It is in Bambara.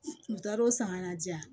U taar'o samara di yan